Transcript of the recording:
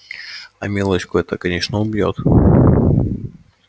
а милочку это конечно убьёт